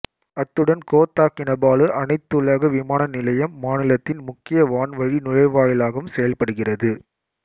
அத்துடன் Kota Kinabalu அனைத்துலக விமான நிலையம் மாநிலத்தின் முக்கிய வான்வழி நுழைவாயிலாகவும் செயல்படுகிறது